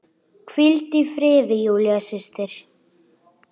Hvíldu í friði, Júlía systir.